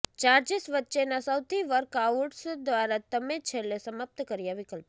charges વચ્ચેના સૌથી workouts દ્વારા તમે છેલ્લે સમાપ્ત કર્યાં વિકલ્પો